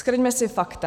Shrňme si fakta.